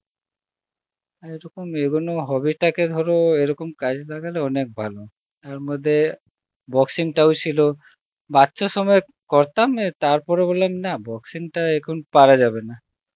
আর এই রকম এই গুণ hobby তাকে ধর এই রকম কাজে লাগালে ধর অনেক ভালো, তার মধ্যে, boxing টাও ছিল বাচ্চা সময় এ করতাম তার পরে বললাম না boxing টা এখন পারা যাবে না